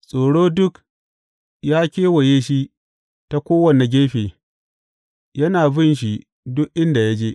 Tsoro duk ya kewaye shi ta kowane gefe yana bin shi duk inda ya je.